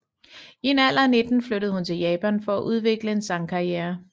I en alder af 19 flyttede hun til Japan for at udvikle en sangkarriere